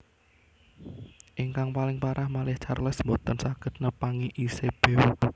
Ingkang paling parah malih Charles boten saged nepangi Isabeau